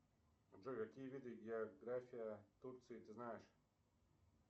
джой какие виды география турции ты знаешь